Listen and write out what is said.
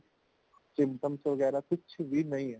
symptom ਵਗ਼ੈਰਾ ਕੁਝ ਵੀ ਨਹੀਂ ਹੈ